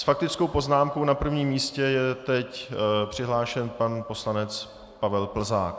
S faktickou poznámkou na prvním místě je teď přihlášen pan poslanec Pavel Plzák.